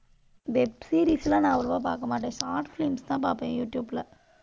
web series எல்லாம் நான் அவ்வளவா பார்க்கமாட்டேன். short films தான் பார்ப்பேன், யூடியூப்ல.